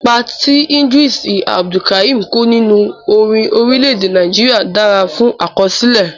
Ipa tí ìdírísì Abdulkarim kó nínú orin orílẹ̀ èdè Nàìjíríà dára fún àkọsílẹ̀.